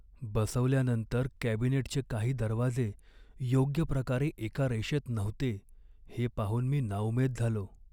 बसवल्यानंतर कॅबिनेटचे काही दरवाजे योग्य प्रकारे एका रेषेत नव्हते हे पाहून मी नाउमेद झालो.